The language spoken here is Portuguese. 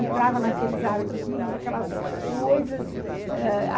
Entrava naqueles arquivos, aquelas coisas.